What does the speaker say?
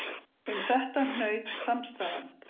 Um þetta hnaut samstaðan.